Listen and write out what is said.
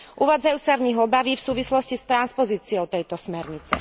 Uvádzajú sa v nich obavy v súvislosti s transpozíciou tejto smernice.